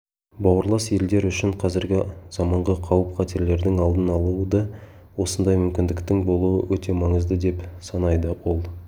бауырлас елдер үшін қазіргі заманғы қауіп-қатерлердің алдын алуда осындай мүмкіндіктің болуы өте маңызды деп санайды ол